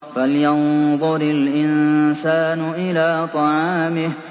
فَلْيَنظُرِ الْإِنسَانُ إِلَىٰ طَعَامِهِ